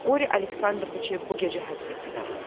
Qori Aleksandroviçi bu gecə həbs etdilər.